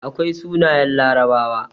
Akwai sunayen larabawa